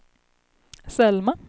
Selma